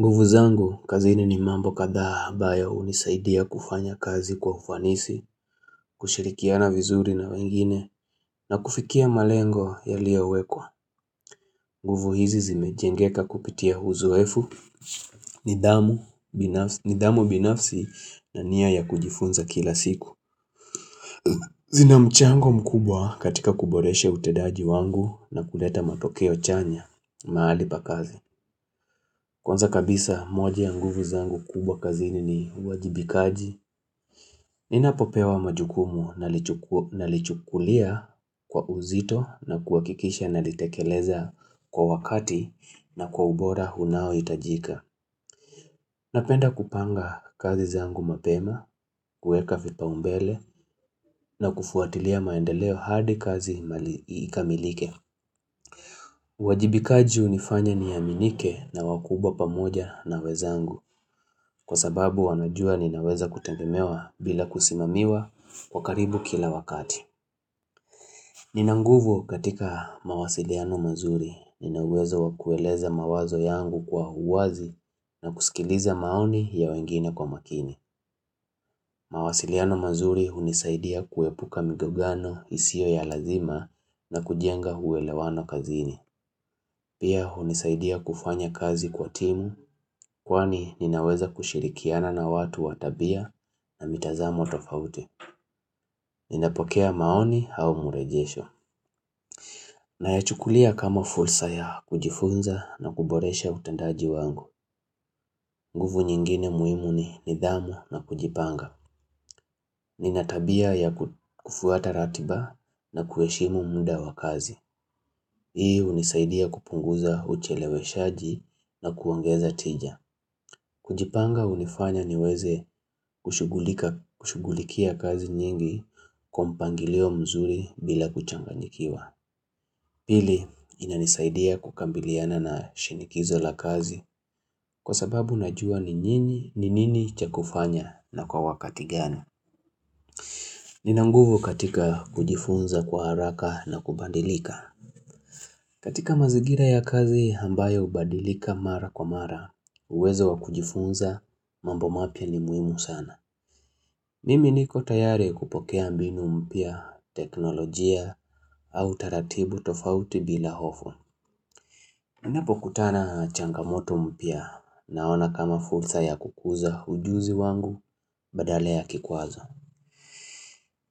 Nguvu zangu, kazini ni mambo kadhaa ambayo hunisaidia kufanya kazi kwa ufanisi, kushirikiana vizuri na wengine, na kufikia malengo yaliyowekwa. Nguvu hizi zimejengeka kupitia uzoefu, nidhamu binafsi na nia ya kujifunza kila siku. Zina mchango mkubwa katika kuboresha utendaji wangu na kuleta matokeo chanya mahali pa kazi. Kwanza kabisa moja ya nguvu zangu kubwa kazi ni uwajibikaji. Ninapopewa majukumu nalichukulia kwa uzito na kuhakikisha nalitekeleza kwa wakati na kwa ubora unaohitajika. Napenda kupanga kazi zangu mapema, kueka fipaumbele na kufuatilia maendeleo hadi kazi imali ikamilike. Wajibikaji hunifanya niaminike na wakubwa pamoja na wenzangu. Kwa sababu wanajua ninaweza kutegemewa bila kusimamiwa kwa karibu kila wakati Nina nguvu katika mawasiliano mazuri Nina uwezo wa kueleza mawazo yangu kwa uwazi na kusikiliza maoni ya wengine kwa makini mawasiliano mazuri hunisaidia kuepuka migogano isiyo ya lazima na kujenga uelewano kazini Pia hunisaidia kufanya kazi kwa timu kwani ninaweza kushirikiana na watu wa tabia na mitazamo tofauti. Ninapokea maoni au murejesho. Nayachukulia kama fursa ya kujifunza na kuboresha utendaji wangu. Nguvu nyingine muhimu ni nidhamu na kujipanga. Nina tabia ya kufuata ratiba na kuheshimu muda wa kazi. Hii hunisaidia kupunguza ucheleweshaji na kuongeza tija. Kujipanga hunifanya niweze kushughulikia kazi nyingi kwa mpangilio mzuri bila kuchanganyikiwa. Pili inanisaidia kukabiliana na shinikizo la kazi kwa sababu najua ni nini ni nini cha kufanya na kwa wakati gani. Nina nguvu katika kujifunza kwa haraka na kubadilika. Katika mazingira ya kazi ambayo hubadilika mara kwa mara uwezo wa kujifunza mambo mapya ni muhimu sana. Mimi niko tayari kupokea mbinu mpya, teknolojia, au taratibu tofauti bila hofu. Ninapokutana changamoto mpya naona kama fursa ya kukuza ujuzi wangu badala ya kikwazo.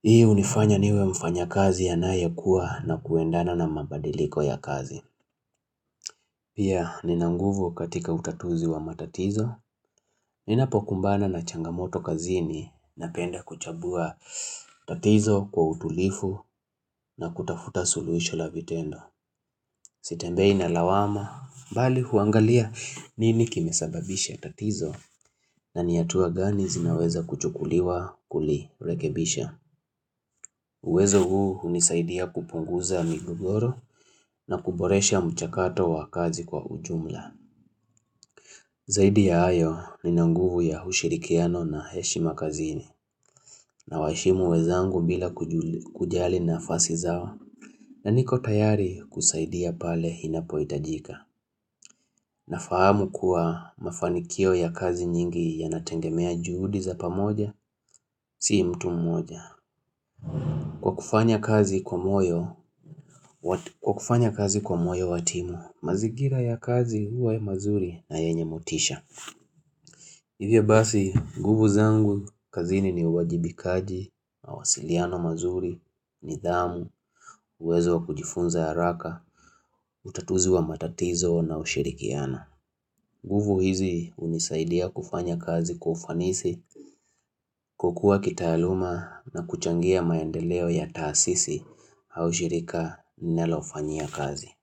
Hii hunifanya niwe mfanya kazi anayekua na kuendana na mabadiliko ya kazi. Pia Nina nguvu katika utatuzi wa matatizo. Ninapokumbana na changamoto kazini napenda kuchambua tatizo kwa utulifu na kutafuta suluhisho la vitendo. Sitembei na lawama, bali huangalia nini kimesababisha tatizo na ni hatua gani zinaweza kuchukuliwa kuli rekebisha. Uwezo huu hunisaidia kupunguza migogoro na kuboresha mchakato wa kazi kwa ujumla. Zaidi ya hayo Nina nguvu ya ushirikiano na heshi makazini nawaheshimu wenzangu bila kujali nafasi zao na niko tayari kusaidia pale inapohitajika na fahamu kuwa mafanikio ya kazi nyingi ya nategemea juhudi za pamoja si mtu mmoja. Kwa kufanya kazi kwa moyo, kwa kufanya kazi kwa moyo watimu, mazingira ya kazi huwa mazuri na yenye motisha. Hivyo basi, nguvu zangu, kazini ni uwajibikaji, mawasiliano mazuri, nidhamu, uwezo wa kujifunza haraka, utatuzi wa matatizo na ushirikiana. Nguvu hizi hunisaidia kufanya kazi kwa ufanisi kukua kitaaluma na kuchangia maendeleo ya taasisi au shirika ninalofanyia kazi.